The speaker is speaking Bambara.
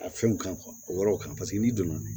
A fɛnw kan o yɔrɔw kan paseke n'i donna